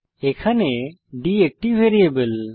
এখানে d একটি variable